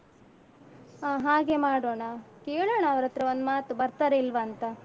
ಹ ಹಾಗೆ ಮಾಡೋಣ. ಕೇಳೋಣ ಅವರತ್ರ ಒಂದ್ ಮಾತು ಬರ್ತಾರಾ ಇಲ್ವಾಂತ.